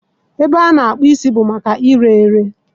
Ebe a na-akpụ isi bụ maka ire ere.